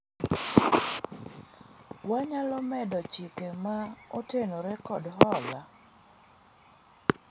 wanyalo medo chike ma otenore kod hola